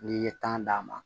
N'i ye tan d'a ma